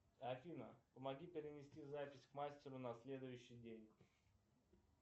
афина помоги перенести запись к мастеру на следующий день